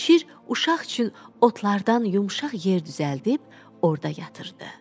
Şir uşaq üçün otlardan yumşaq yer düzəldib orda yatırtdı.